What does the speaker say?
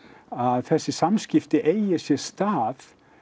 að þessi samskipti eigi sér stað